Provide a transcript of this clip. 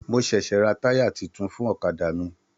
Mo ṣẹṣẹ ra taya títún fún ọ̀kàdà mí.